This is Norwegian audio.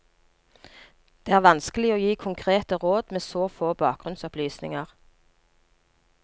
Det er vanskelig å gi konkrete råd med så få bakgrunnsopplysninger.